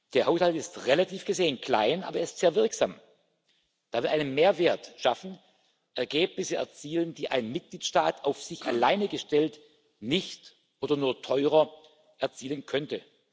Der Haushalt ist, relativ gesehen, klein, aber er ist sehr wirksam, weil wir einen Mehrwert schaffen, Ergebnisse erzielen, die ein Mitgliedstaat, auf sich alleine gestellt, nicht oder nur teurer erzielen könnte.